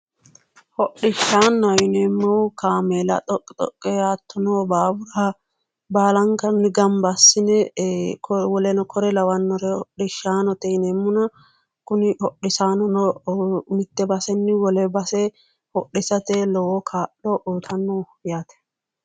Hodhishshanna yineemmohu kaameela, dhoqqidhoqqe, hattono baabura baalanjanni gamba assine woleno kore lawannore hodhishshaanote yineemmona kuni hodjisaanono mitte basenni wole base hodhisate lowo kaa'lo uyitanno yaate.